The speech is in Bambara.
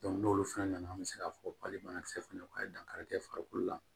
n'olu fɛnɛ nana an bɛ se k'a fɔ bali banakisɛ fana u ka dankari kɛ farikolo la